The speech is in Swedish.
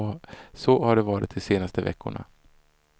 Så har det varit de senaste veckorna.